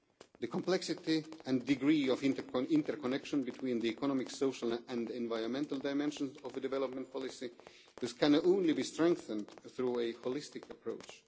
The complexity and degree of interconnection between the economic, social and environmental dimensions of development policy this can only be strengthened through a holistic approach.